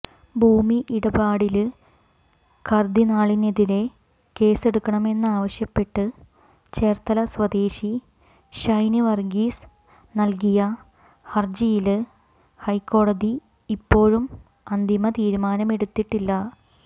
ഭൂമി ഇടപാടില് കര്ദ്ദിനാളിനെതിരെ കേസെടുക്കണമെന്നാവശ്യപ്പെട്ട് ചേര്ത്തല സ്വദേശി ഷൈന് വര്ഗീസ് നല്കിയ ഹര്ജിയില് ഹൈക്കോടതി ഇപ്പോഴും അന്തിമ തീരുമാനമെടുത്തിട്ടില്ല